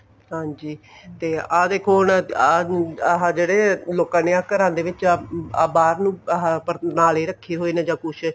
ਹਾਂਜੀ ਤੇ ਆਹ ਦੇਖੋ ਹੁਣ ਅਹ ਜਿਹੜੇ ਲੋਕਾਂ ਨੇ ਆਹ ਘਰਾਂ ਦੇ ਵਿੱਚ ਬਾਹਰ ਨੂੰ ਅਮ ਨਾਲੇ ਰੱਖੇ ਹੋਏ ਨੇ ਜਾਂ ਕੁੱਝ ਹੈ